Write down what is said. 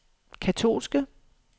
katolske